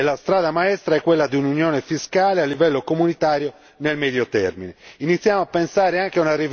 Dobbiamo osare di più e la strada maestra è quella di un'unione fiscale a livello comunitario nel medio termine.